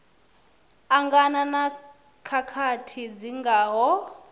angana na khakhathi dzi ngaho